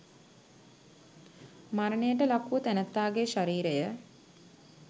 මරණයට ලක් වූ තැනැත්තාගේ ශරීරය